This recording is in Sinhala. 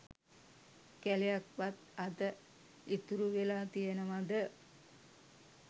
කැලයක් වත් අද ඉතුරු වෙලා තියනවද?